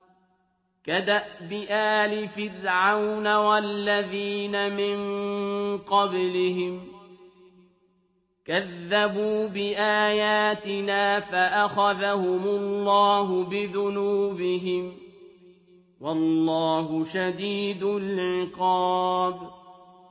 كَدَأْبِ آلِ فِرْعَوْنَ وَالَّذِينَ مِن قَبْلِهِمْ ۚ كَذَّبُوا بِآيَاتِنَا فَأَخَذَهُمُ اللَّهُ بِذُنُوبِهِمْ ۗ وَاللَّهُ شَدِيدُ الْعِقَابِ